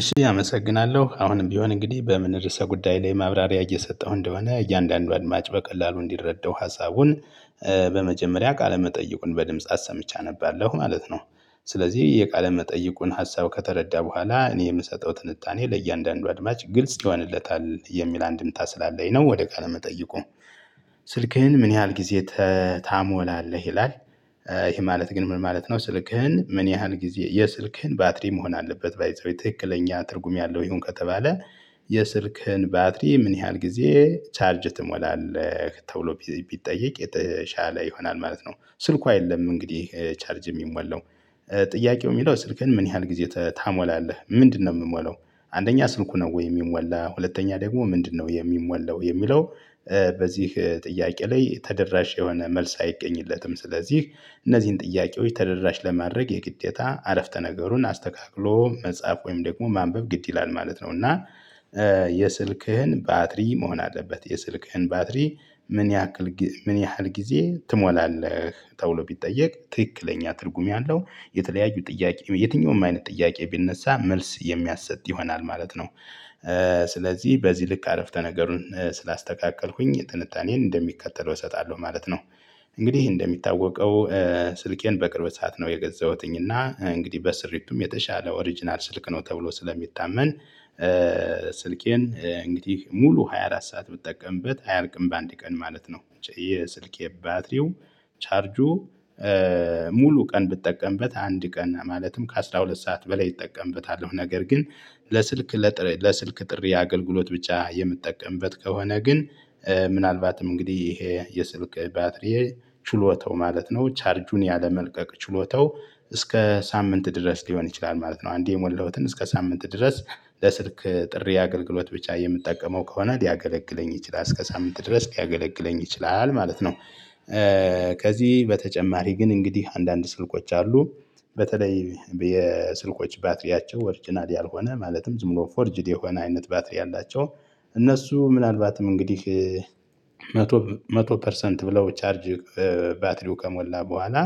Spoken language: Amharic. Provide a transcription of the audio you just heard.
እሺ አመሰግናለሁ አሁንም ቢሆን እንግዲህ በምን ርዕሰ ጉዳይ ላይ ማብራሪያ እየሰጠሁ እንደሆነ እያንዳንዱ አድማጭ በቀላሉ እንዲረዳው ሀሳቡን በመጀመሪያ ቃለ መጠይቁን በድምጽ አሰምቼ አነባለሁ ማለት ነው። ስለዚህ የቃለ መጠይቁን ሀሳብ ከተረዳ በኋላ እኔ የምሰጠው ትንታኔ ለእያንዳንዱ አድማጭ ግልጽ ይሆንለታል የሚል አንድምታ ስላለኝ ነው። ወደ ቃለ መጠይቁ ስልክህን ምን ያህል ጊዜ ታሞላለህ ይላል? ይሄ ማለት ግን ምን ማለት ነው? ስልክህን ምን ያህል ጊዜ የስልክህን ባትሪ መሆን አለበት ባይ ዘ ዌይ ትክክለኛ ትርጉም ያለው ይሁን ከተባለ የስልክህን ባትሪ ምን ያህል ጊዜ ቻርጅ ትሞላለህ? ተብሎ ቢጠየቅ የተሻለ ይሆናል ማለት ነው። ስልኩ አይደለም እንግዲህ ቻርጅ የሚሞላው ጥያቄው የሚለው ስልክህን ምን ያህል ጊዜ ታሞላለህ ምንድነው? የምሞለው አንደኛ ስልኩ ነው ወይ የሚሞላ ሁለተኛ ደግሞ ምንድነው የሚሞላው የሚለው? በዚህ ጥያቄ ላይ ተደራሽ የሆነ መልስ አይገኝለትም። ስለዚህ እነዚህን ጥያቄዎች ተደራሽ ለማድረግ የግዴታ አረፍተ ነገሩን አስተካክሎ መጻፍ ወይም ደግሞ ማንበብ ግድ ይላል ማለት ነው። እና የስልክህን ባትሪ መሆን አለበት የስልክህን ባትሪ ምን ያክል ምን ያህል ጊዜ ትሞላለህ ተብሎ ቢጠየቅ ትክክለኛ ትርጉም ያለው የተለያዩ ጥያቄ የትኛውም አይነት ጥያቄ ቢነሳ መልስ የሚያሰጥ ይሆናል ማለት ነው። ስለዚህ በዚህ ልክ አረፍተ ነገሩን ስላስተካከልኩኝ ጥንታኔን እንደሚከተል እሰጣለሁ ማለት ነው። እንግዲህ እንደሚታወቀው ስልኬን በቅርብ ሰዓት ነው የገዛሁትኝ እና እንግዲህ በስርሪቱም የተሻለ ኦሪጅናል ስልክ ነው ተብሎ ስለሚታመን። ስልኬን እንግዲህ ሙሉ ሃያ አራት ሰዓት ብጠቀምበት አያልቅም በአንድ ቀን ማለት ነው። የስልኬ ባትሪው ቻርጁ ሙሉ ቀን ብጠቀምበት አንድ ቀን ማለትም ከአስራሁለት ሰዓት በላይ እጠቀምበታለሁ። ነገር ግን ለስልክ ለስልክ ጥሪ አገልግሎት ብቻ የምጠቀምበት ከሆነ ግን። ምናልባትም እንግዲህ ይሄ የስልክ ባትሪ ችሎታው ማለት ነው ቻርጁን ያለመልቀቅ ችሎታው እስከ ሳምንት ድረስ ሊሆን ይችላል ማለት ነው። አንዴ የሞላሁትን እስከ ሳምንት ድረስ ለስልክ ጥሪ አገልግሎት ብቻ የምትጠቀመው ከሆነ ሊያገለግለኝ ይችላል እስከ ሳምንት ድረስ ሊያገለግለኝ ይችላል ማለት ነው። ከዚህ በተጨማሪ ግን እንግዲህ አንዳንድ ስልኮች አሉ። በተለይ የስልኮች ባትሪያቸው ኦርጂናል ያልሆነ ማለትም ዝም ብሎ ፎርጅድ የሆነ አይነት ባትሪ ያላቸው። እነሱ ምናልባትም እንግዲህ መቶ መቶ ፐርሰንት ብለው ቻርጅ ባትሪው ከሞላ በኋላ